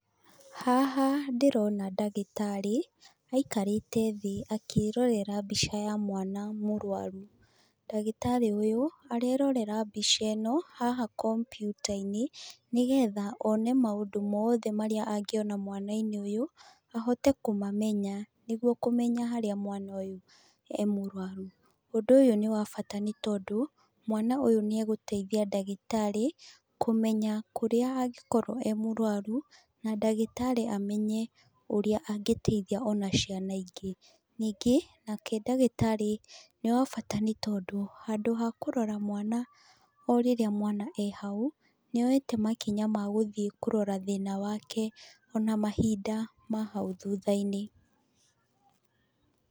Haha ndĩrona ndagĩtarĩ aikarĩte thĩĩ akĩrorera mbica ya mwana murũaru. Ndagĩtarĩ ũyũ arerorera mbica ĩno haha komputa-inĩ nĩgetha one maũndũ mothe marĩa angĩona mwana-inĩ ũyũ ahote kũmamenya nĩguo kũmenya harĩa mwana ũyũ e mũrũaru. Ũndu ũyu nĩ wabata nĩ tondũ mwana ũyũ nĩ agũteithia ndaĩgitarĩ kũmenya kurĩa angĩ korwo arĩ mũruaru na ndagĩtarĩ amenye ũrĩa angĩteithia ona ciana ingĩ ,ningĩ ndagĩtarĩ nĩ wa bata nĩ tondũ handu ha kurora mwana o rĩrĩa e hau nĩoete makinya ma gũthiĩ kũrora thĩna wake o na mahinda ma hau thutha-inĩ